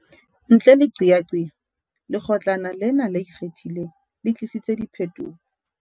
Ntle le qeaqeo, Lekgo tlana lena le Ikgethileng le tlisitse diphetoho.